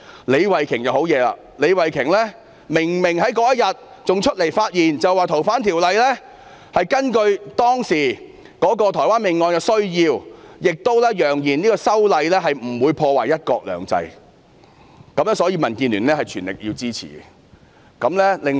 李慧琼議員同樣厲害，她當日明明站出來發言，指政府是根據當時台灣兇殺案的需要而修訂《逃犯條例》，亦揚言修例不會破壞"一國兩制"，所以民建聯會全力支持。